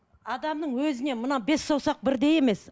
адамның өзіне мына бес саусақ бірдей емес